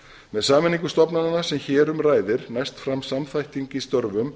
með sameiningu stofnananna sem hér um ræðir næst fram samþætting í störfum